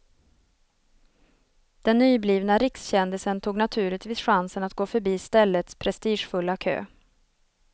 Den nyblivna rikskändisen tog naturligtvis chansen att gå förbi ställets prestigefulla kö.